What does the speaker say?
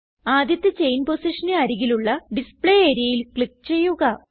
ആദ്യത്തെ ചെയിൻ പൊസിഷന് അരികിലുള്ള ഡിസ്പ്ലേ areaൽ ക്ലിക്ക് ചെയ്യുക